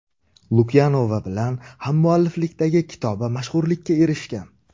Lukyanova bilan hammualliflikdagi kitobi mashhurlikka erishgan.